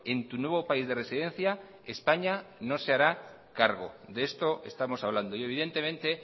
en tu nuevo país de residencia españa no se hará cargo de esto estamos hablando y evidentemente